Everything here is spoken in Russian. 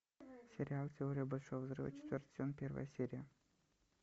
сериал теория большого взрыва четвертый сезон первая серия